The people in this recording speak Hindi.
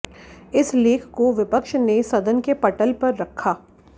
इस लेख को विपक्ष ने सदन के पटल पर रखा